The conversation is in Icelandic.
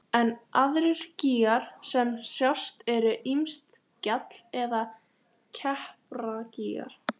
en aðrir gígar sem sjást eru ýmist gjall- eða klepragígar.